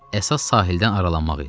Əsas sahildən aralanmaq idi.